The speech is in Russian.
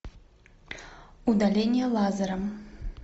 удаление лазером